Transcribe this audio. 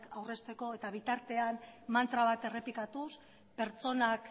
aurrezteko eta bitartean mantra bat errepikatuz pertsonak